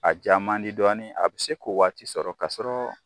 A ja man di dɔɔnin, a bɛ se k'o waati sɔrɔ k'a sɔrɔ.